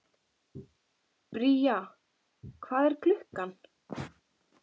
Bría, hvað er klukkan?